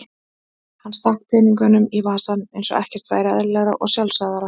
Hann stakk peningunum í vasann eins og ekkert væri eðlilegra og sjálfsagðara.